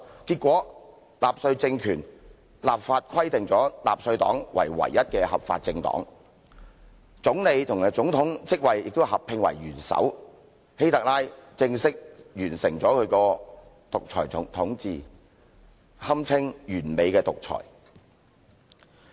結果納粹黨政權立法規定納粹黨為唯一的合法政黨，總理和總統職位亦合併為元首，希特拉正式完成其獨裁統治，堪稱完美的獨裁。